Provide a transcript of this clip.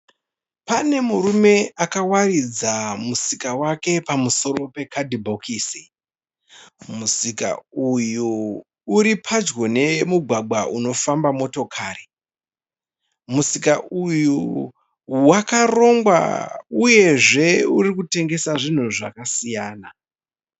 Pane murume akawaridza musika wake pamusoro pe kadhibhokisi. Musika uyu uri padyo nemugwagwa unofamba motokari. Musika uyu wakarongwa uyezve uri kutengeswa zvinhu zvakasiyana.